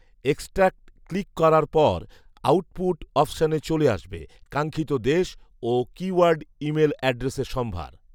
এক্সক্টাক click কারার পর output অপশনে চলে আসবে কাঙ্খিত দেশ ও কীওয়ার্ড ইমেইল অ্যাড্রেসের সম্ভার